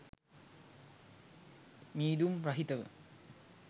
මීදුම් රහිතව